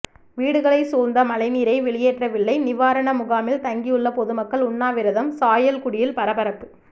வீடுகளை சூழ்ந்த மழைநீரை வெளியேற்றவில்லை நிவாரண முகாமில் தங்கியுள்ள பொதுமக்கள் உண்ணாவிரதம் சாயல்குடியில் பரபரப்பு